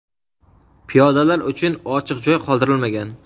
Piyodalar uchun ochiq joy qoldirilmagan.